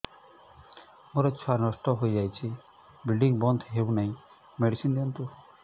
ମୋର ଛୁଆ ନଷ୍ଟ ହୋଇଯାଇଛି ବ୍ଲିଡ଼ିଙ୍ଗ ବନ୍ଦ ହଉନାହିଁ ମେଡିସିନ ଦିଅନ୍ତୁ